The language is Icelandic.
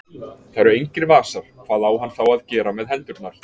Það eru engir vasar, hvað á hann þá að gera með hendurnar?